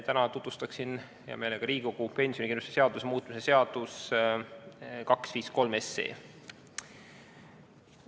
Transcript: Täna tutvustan hea meelega Riigikogule pensionikindlustusseaduse muutmise seaduse eelnõu 253.